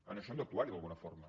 en això hem d’actuar hi d’alguna forma